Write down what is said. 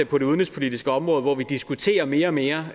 på det udenrigspolitiske område hvor vi diskuterer mere og mere